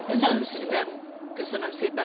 Köszönöm szépen elnök asszony!